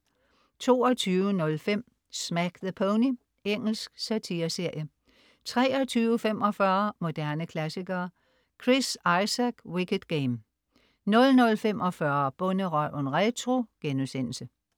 22.05 Smack the Pony. Engelsk satire-serie 23.45 Moderne klassikere. Chris Isaak: Wicked Game 00.45 Bonderøven retro*